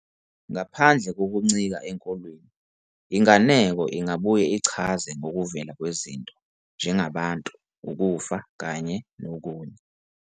Ngaphandle kokuncika enkolweni, inganeko ingabuye ichaze ngokuvela kwezinto njengabantu, ukufa kanye nokunye.